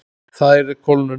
Það yrði kólnun.